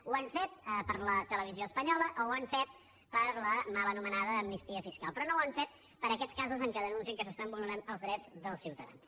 ho han fet per la televisió espanyola ho han fet per la mal anomenada amnistia fiscal però no ho han fet per aquests casos en què denuncien que s’estan vulnerant els drets dels ciutadans